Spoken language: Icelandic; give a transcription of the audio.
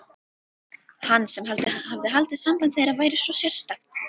Hann sem hafði haldið að samband þeirra væri svo sérstakt.